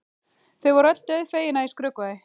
Þau voru öll dauðfegin að ég skrökvaði.